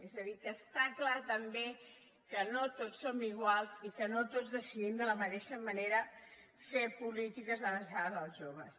és a dir que està clar també que no tots som iguals i que no tots decidim de la mateixa manera fer polítiques adreçades als joves